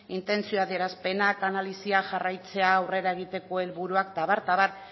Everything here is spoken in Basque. intentzio adierazpenak analisia jarraitzea aurrera egiteko helburuak eta abar eta abar